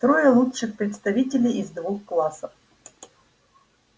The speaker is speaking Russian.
трое лучших представителей из двух классов